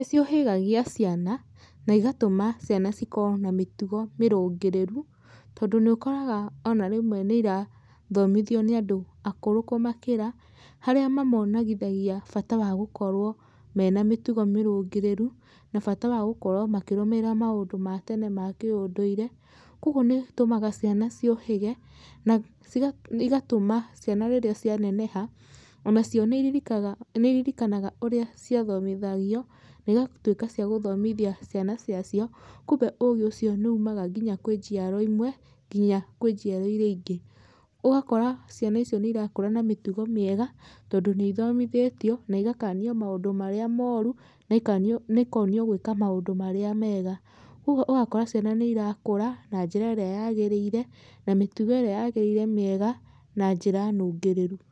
Nĩ ciũhĩgagia ciana, na igatũma ciana cikoo na mĩtugo mĩrũngĩrĩru, tondũ nĩ ũkoraga ona rĩmwe nĩ ĩrathomithio nĩ andũ akũrũ kũmakĩra, harĩa mamonagithagia bata wa gũkorwo mena mĩtugo mĩrũngĩrĩru, na bata wa gũkorwo makĩrũmĩrĩra maũndũ ma tene ma kĩũndũire. Kwogwo nĩ ũtũmaga ciana ciũhĩge na ciga, igatũma ciana rĩrĩa cianeneha, onacio nĩ iririkaga, nĩ iririkanaga ũrĩa ciathomithagio na ĩgatuĩka ciagũthomithia ciana ciacio, kumbe ũgĩ ũcio nĩ ũmaga nginya kwĩ njiaro imwe nginya kwĩ njiaro iria ingĩ. Ũgakora ciana icio nĩirakũra na mĩtugo mĩega, tondũ nĩ ithomithĩtio na igakanio maũndũ marĩa mooru na ikanio, na ikonio gwĩka maũndũ marĩa mega. Kwogwo ũgakora ciana nĩ irakũra na njĩra ĩrĩa yagĩrĩire, na mĩtugo ĩrĩa yagĩrĩire mĩega na njĩra nũngĩrĩru.